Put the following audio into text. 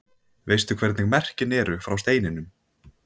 Veistu hvernig merkin eru frá steininum?